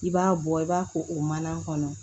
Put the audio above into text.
I b'a bɔ i b'a ko o mana kɔnɔ